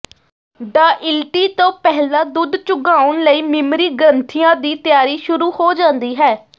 ਡਾਇਿਲਟੀ ਤੋਂ ਪਹਿਲਾਂ ਦੁੱਧ ਚੁੰਘਾਉਣ ਲਈ ਮੀਮਰੀ ਗ੍ਰੰਥੀਆਂ ਦੀ ਤਿਆਰੀ ਸ਼ੁਰੂ ਹੋ ਜਾਂਦੀ ਹੈ